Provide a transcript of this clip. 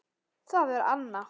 Það er Anna.